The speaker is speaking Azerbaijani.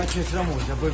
Mən keçirəm orda.